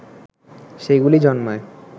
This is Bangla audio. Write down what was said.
সেগুলি জন্মায়